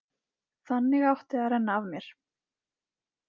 Þannig átti að renna af mér.